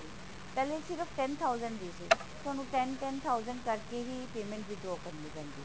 ਪਹਿਲੇ ਸਿਰਫ਼ ten thousand ਦੀ ਸੀ ਹੁਣ ten ten thousand ਕਰਕੇ ਹੀ ਪਾਯ੍ਮੇੰਟ withdraw ਕਰਨੀ ਪੈਂਦੀ ਹੈ